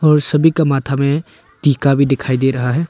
और सभी का माथा में टीका भी दिखाई दे रहा है।